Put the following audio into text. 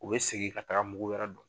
U be segin ka taga mugu wɛrɛ don